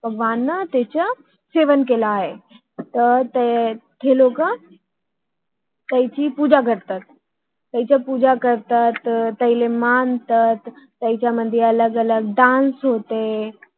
one त्यांच्या सेवन केले आहे हम्म हे लोक तयाची पूजा करतात आह त्यांना मानतात त्यांच्या मध्ये अलग कलग डान्स donce होते